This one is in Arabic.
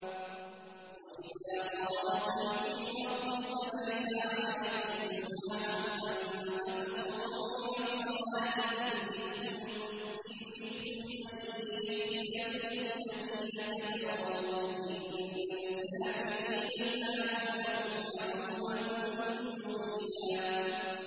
وَإِذَا ضَرَبْتُمْ فِي الْأَرْضِ فَلَيْسَ عَلَيْكُمْ جُنَاحٌ أَن تَقْصُرُوا مِنَ الصَّلَاةِ إِنْ خِفْتُمْ أَن يَفْتِنَكُمُ الَّذِينَ كَفَرُوا ۚ إِنَّ الْكَافِرِينَ كَانُوا لَكُمْ عَدُوًّا مُّبِينًا